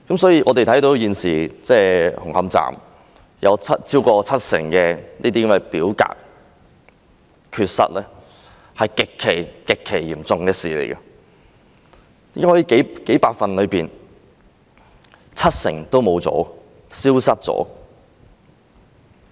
所以，現時紅磡站有超過七成的表格缺失是極其嚴重的事，怎可能數百份的文件中有七成都消失了？